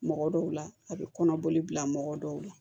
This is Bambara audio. Mɔgɔ dɔw la a bɛ kɔnɔboli bila mɔgɔ dɔw la